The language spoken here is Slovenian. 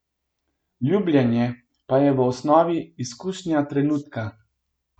Ljubljenje pa je v osnovi izkušnja trenutka.